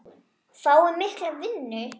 Fái mikla vinnu.